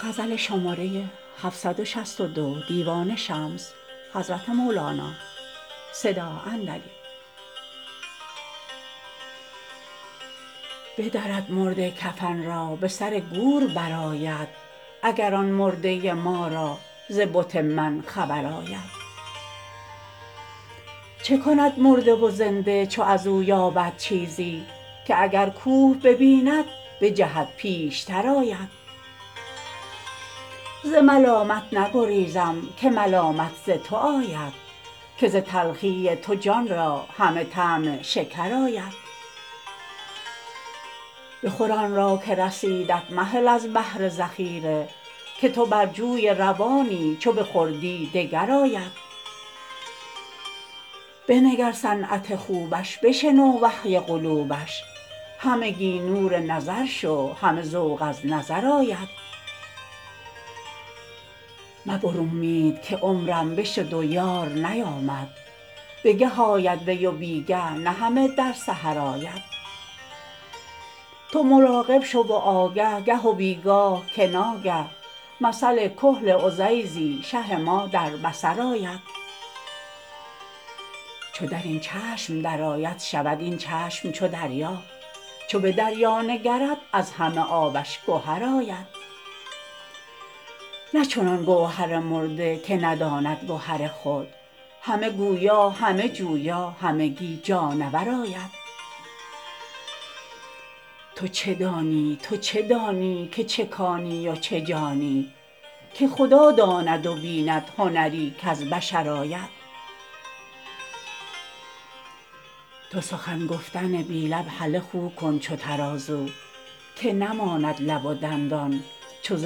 بدرد مرده کفن را به سر گور برآید اگر آن مرده ما را ز بت من خبر آید چه کند مرده و زنده چو از او یابد چیزی که اگر کوه ببیند بجهد پیشتر آید ز ملامت نگریزم که ملامت ز تو آید که ز تلخی تو جان را همه طعم شکر آید بخور آن را که رسیدت مهل از بهر ذخیره که تو بر جوی روانی چو بخوردی دگر آید بنگر صنعت خوبش بشنو وحی قلوبش همگی نور نظر شو همه ذوق از نظر آید مبر امید که عمرم بشد و یار نیامد بگه آید وی و بی گه نه همه در سحر آید تو مراقب شو و آگه گه و بی گاه که ناگه مثل کحل عزیزی شه ما در بصر آید چو در این چشم درآید شود این چشم چو دریا چو به دریا نگرد از همه آبش گهر آید نه چنان گوهر مرده که نداند گهر خود همه گویا همه جویا همگی جانور آید تو چه دانی تو چه دانی که چه کانی و چه جانی که خدا داند و بیند هنری کز بشر آید تو سخن گفتن بی لب هله خو کن چو ترازو که نماند لب و دندان چو ز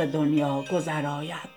دنیا گذر آید